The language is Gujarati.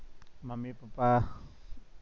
mummy papa